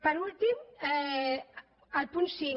per últim el punt cinc